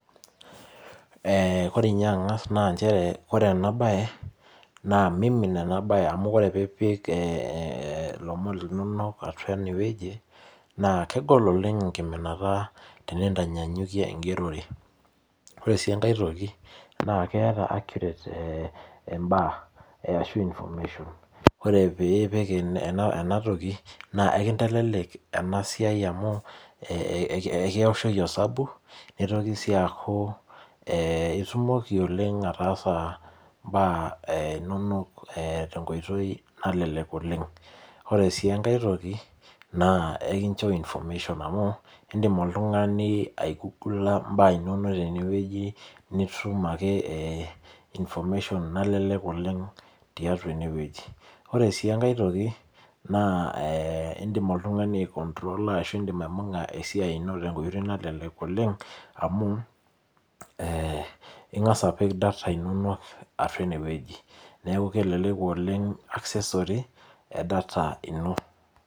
Kore ninye ang'as naa nchere naa mimin ena bae amuore pipik ilomon linonok ineweji na kegol oleng' enkiminata tenintanyanyukie enkigerore. Ore sii enkae toki naa ketaa accurate baa arashu information ore pipik ena toki naa ikintelelek ena siaia amu ekishoki osabu nitoki sii aku itumoki oleng' ataasa ibaa inonok tee nkoitoi nalelek oleng'. Ore sii enkae toki naa ikincho information amu idim oltung'ani aigugula ibaa inonok tineweji nitum ake information nalelek oleng' tiatua eneweji. Ore sii enkae toki naa idim oltung'ani ai control a ashu aibung'a tenkoitoi nalelek amu ing'as apik data inonok atua eneweji neeku kelelek oleng' accessory ee data ino.